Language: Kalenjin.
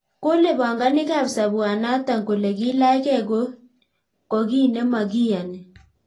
Kole panganik ab sabwanatak kole kilach ke ko kiy nemakiyani.